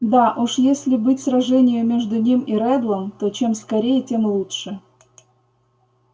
да уж если быть сражению между ним и реддлом то чем скорее тем лучше